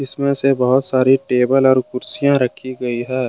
इसमें से बहुत सारी टेबल और कुर्सियां रखी गई है।